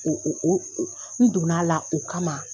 O o o n donna la o kama.